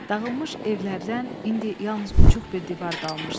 Dağılmış evlərdən indi yalnız uçuq bir divar qalmışdı.